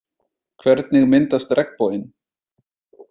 Hvernig myndast regnboginn?